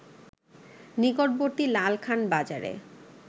নিকটবর্তী লালখান বাজারে